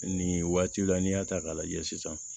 Nin waati la n'i y'a ta k'a lajɛ sisan